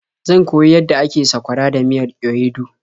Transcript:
Zan koyi yadda ake sakwara da miyar ewedu.